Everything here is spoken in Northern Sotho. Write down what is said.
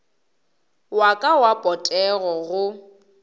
wa ka wa potego go